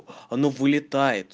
вылет